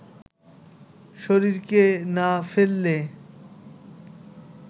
শরীরকে না ফেললে